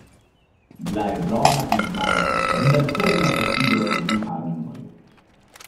Bila je drobna in majhna, vendar trdna kot sidro v viharnem morju.